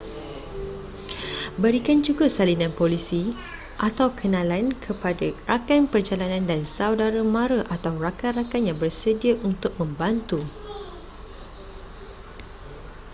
berikan juga salinan polisi/kenalan kepada rakan perjalanan dan saudara-mara atau rakan-rakan yang bersedia untuk membantu